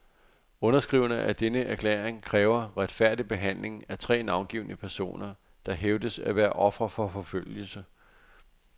Underskriverne af denne erklæring kræver retfærdig behandling af tre navngivne personer, der hævdes at være ofre for forfølgelse.